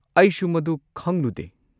ꯑꯩꯁꯨ ꯃꯗꯨ ꯈꯪꯂꯨꯗꯦ꯫